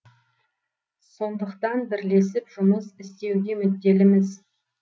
сондықтан бірлесіп жұмыс істеуге мүдделіміз